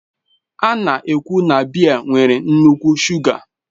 A na-ekwu na biya nwere nnukwu shuga